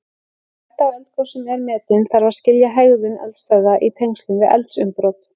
Þegar hætta á eldgosum er metin þarf að skilja hegðun eldstöðva í tengslum við eldsumbrot.